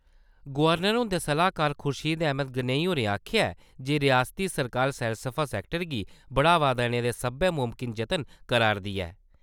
Governor हुंदे सलाह्कार खुर्शीद अहमद गनेई होरें आखेआ ऐ जे रियासती सरकार सैलसफा सैक्टर गी बढ़ावा देने दे सब्बै मुमकन जतन करा`रदी ऐ ।